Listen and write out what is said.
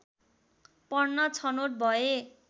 पढ्न छनोट भए